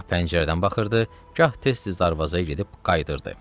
Gah pəncərədən baxırdı, gah tez-tez darvazaya gedib qayıdırdı.